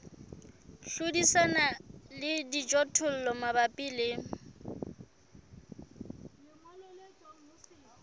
hlodisana le dijothollo mabapi le